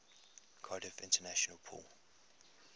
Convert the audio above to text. cardiff international pool